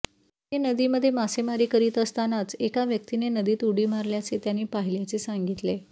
ते नदीमध्ये मासेमारी करीत असतानाच एका व्यक्तीने नदीत उडी मारल्याचे त्यांनी पाहिल्याचे सांगितले